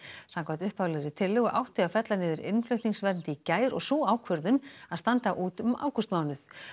samkvæmt upphaflegri tillögu átti að fella niður innflutningsvernd í gær og sú ákvörðun að standa út ágústmánuð